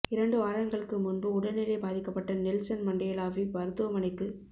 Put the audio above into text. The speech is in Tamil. இரண்டு வாரங்களுக்கு முன்பு உடல் நிலை பாதிக்கப்பட்ட நெல்சன் மண்டேலாவை மருத்துவமனைக்குக்